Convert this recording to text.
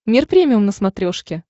мир премиум на смотрешке